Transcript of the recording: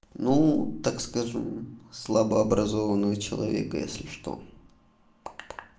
ну так скажем слабо образованного человека если что